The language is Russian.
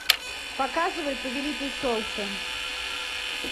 показывай повелитель солнца